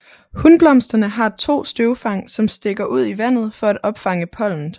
Hunblomsterne har 2 støvfang som stikker ud i vandet for at opfange pollenet